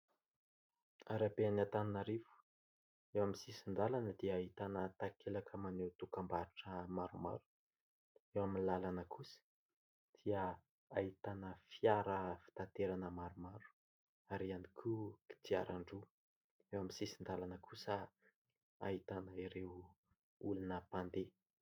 Arabe an'Antananarivo. Eo amin'ny sisin-dàlana dia ahitana takelaka maneho dokam-barotra maromaro. Eo amin'ny làlana kosa dia ahitana fiara fitaterana maromaro ary ihany koa kodiaran-droa. Eo amin'ny sisin-dàlana kosa ahitana ireo olona mpandeha.